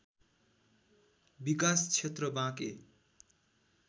विकास क्षेत्र बाँके